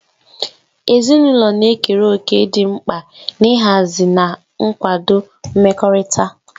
Ezinụlọ na-ekere òkè dị mkpa n'ịhazi na ịkwado mmekọrịta.